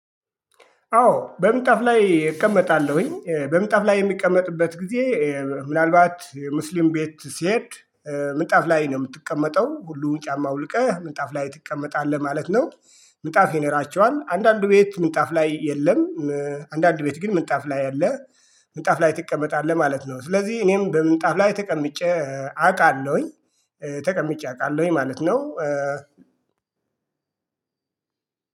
አዎ በምጣፍ ላይ እቀመጣለሁኝ በምጣፍ ላይ የምቀመጥበት ጊዜ ምናልባት ሙስሊም ቤት ስሄድ ምንጣፍ ላይ ነው የምትቀመጠው ሁሉን ጫማ አውልቀህ ምንጣፍ ላይ ትቀመጣለህ ማለት ነው። ምጣፍ ይኖራቸዋል አንዳንዱ ቤት ምንጣፍ ላይ የለም። አንዳንድ ቤት ግን ምንጣፍ ላይ አለ። ምንጣፍ ላይ ትቀመጣለህ ማለት ነው ስለዚህ እኔም በምጣፍ ላይ ተቀምጬ አውቃለሁኝ። ተቀምጬ አውቃለሁኝ ማለት ነው።